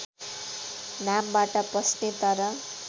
नामबाट पस्ने तर